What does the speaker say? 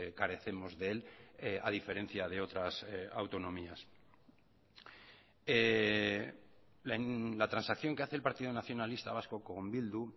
carecemos de él a diferencia de otras autonomías la transacción que hace el partido nacionalista vasco con bildu